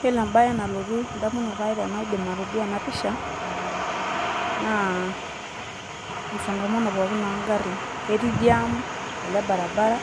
Iyiolo embae nalotu edamunoto aai tenadim atoduaa ena pisha naa msongamano pookin oo garrin ketii Jam ele orbaribara ,